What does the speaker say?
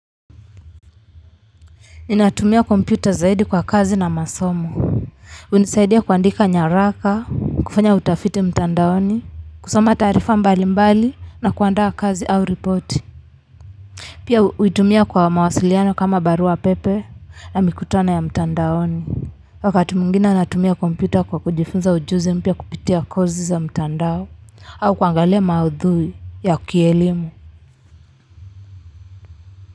Ninatumia kompyuta zaidi kwa kazi na masomo. Hunisaidia kuandika nyaraka, kufanya utafiti mtandaoni, kusoma taarifa mbalimbali na kuandaa kazi au ripoti. Pia, huitumia kwa mawasiliano kama barua pepe na mikutano ya mtandaoni. Wakati mwingine natumia kompyuta kwa kujifunza ujuzi mpya kupitia kozi za mtandaoni. Au kuangalia maudhui ya kielimu.